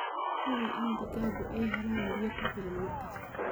Hubi in digaaggu ay helaan biyo ku filan mar kasta.